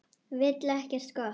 Vill ekkert gott.